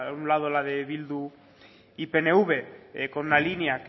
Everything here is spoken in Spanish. una lado la de bildu y pnv con una línea